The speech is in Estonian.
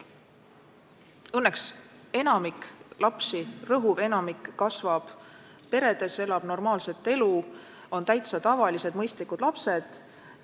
Õnneks rõhuv enamik lapsi kasvab peredes, elab normaalset elu, on täitsa tavalised, mõistlikud lapsed.